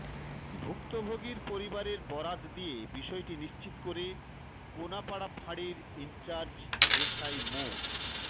ভুক্তভোগীর পরিবারের বরাত দিয়ে বিষয়টি নিশ্চিত করে কোনাপাড়া ফাঁড়ির ইনচার্জ এসআই মো